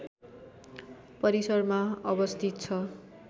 परिसरमा अवस्थित छ